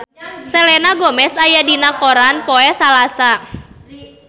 Selena Gomez aya dina koran poe Salasa